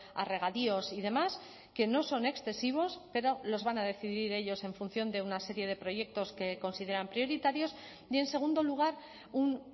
a regadíos y demás que no son excesivos pero los van a decidir ellos en función de una serie de proyectos que consideran prioritarios y en segundo lugar un